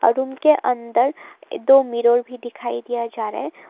Room के अंदर दो मिरर भी दिखाई दिया जा रहा है।